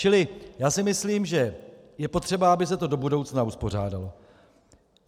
Čili já si myslím, že je potřeba, aby se to do budoucna uspořádalo.